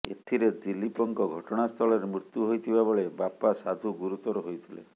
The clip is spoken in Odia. ଏଥିରେ ଦିଲ୍ଲୀପଙ୍କ ଘଟଣାସ୍ଥଳରେ ମୁତ୍ୟୁ ହୋଇଥିବାବେଳେ ବାପା ସାଧୁ ଗୁରୁତର ହୋଇଥିଲେ